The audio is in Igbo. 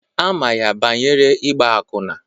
Ama ya banyere igba akwụna.